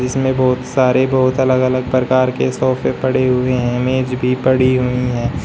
इसमें बहुत सारे बहुत अलग अलग प्रकार के सोफे पड़े हुए है मेज भी पड़ी हुई है।